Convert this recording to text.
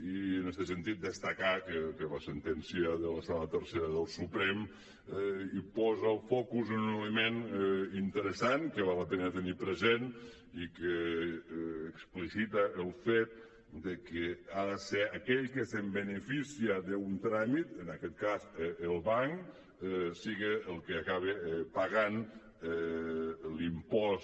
i en este sentit destacar que la sentència de la sala tercera del suprem posa el focus en un element interessant que val la pena tenir present i que explicita el fet que ha de ser aquell que es beneficia d’un tràmit en aquest cas el banc siga el que acaba pagant l’impost